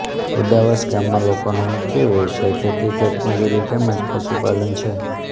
ઉદાવાસ ગામના લોકોનો મુખ્ય વ્યવસાય ખેતી ખેતમજૂરી તેમ જ પશુપાલન છે